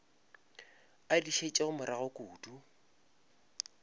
a di šetšego morago kudu